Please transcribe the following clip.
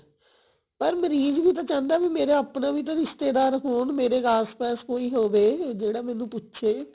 ਪਰ ਮਰੀਜ ਨੂੰ ਤਾਂ ਚਾਹੰਦਾ ਵੀ ਮੇਰਾ ਆਪਣਾ ਵੀ ਤਾਂ ਰਿਸ਼ਤੇਦਾਰ ਹੋਣ ਮੇਰੇ ਆਸ ਪਾਸ ਕੋਈ ਹੋਵੇ ਜਿਹੜਾ ਮੈਨੂੰ ਪੁੱਛੇ